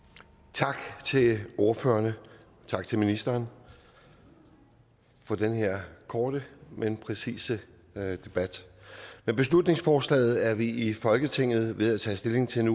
tak til ordførerne og tak til ministeren for den her korte men præcise debat med beslutningsforslaget er vi i folketinget ved at tage stilling til